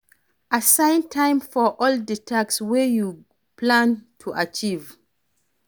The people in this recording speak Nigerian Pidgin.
Assign time for all di task wey you plan to achieve